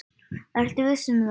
Ertu viss um það?